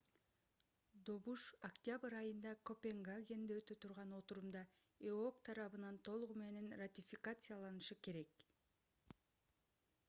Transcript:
добуш октябрь айында копенгагенде өтө турган отурумда эок тарабынан толугу менен ратификацияланышы керек